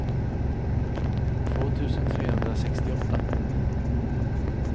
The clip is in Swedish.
två tusen trehundrasextioåtta